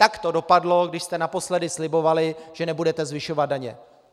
Tak to dopadlo, když jste naposledy slibovali, že nebudete zvyšovat daně.